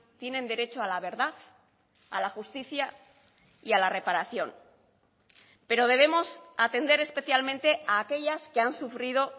tienen derecho a la verdad a la justicia y a la reparación pero debemos atender especialmente a aquellas que han sufrido